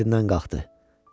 Yerindən qalxdı.